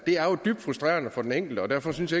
er jo dybt frustrerende for den enkelte og derfor synes